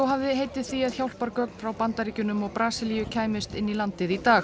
hafði heitið því að hjálpargögn frá Bandaríkjunum og Brasilíu kæmust inn í landið í dag